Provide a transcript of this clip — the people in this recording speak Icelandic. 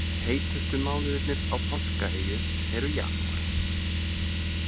Heitustu mánuðurnir á Páskaeyju eru janúar.